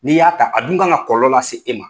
N'i y'a ta a dun kan ka kɔlɔlɔ la se e ma.